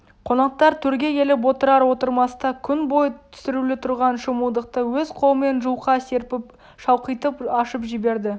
қонақтар төрге келіп отырар-отырмаста күн бойы түсірулі тұрған шымылдықты өз қолымен жұлқа серпіп шалқитып ашып жіберді